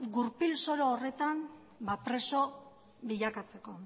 gurpil soro horretan preso bilakatzeko